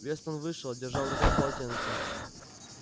вестон вышел а держа в руках полотенце